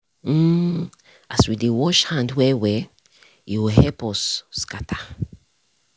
mm as we dey wash hand well well e ho help us scatter.